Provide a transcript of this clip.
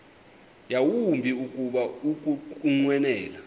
yawumbi kuba ukunqwenela